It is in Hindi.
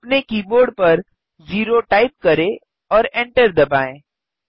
अपने कीबोर्ड पर 0 टाइप करें और एन्टर दबाएँ